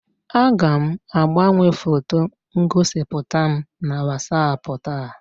Aga m agbanwe foto ngosipụta m na WatsAapụ taa.